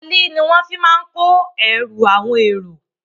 Tirọlí ní wọn má ń fí kó ẹrù àwọn èrò.